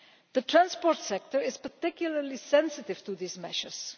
The transport sector is particularly sensitive to these measures.